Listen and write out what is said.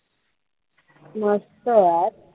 मस्त यार